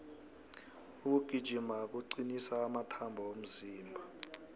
ukugijima kucnisa amathambo womzimba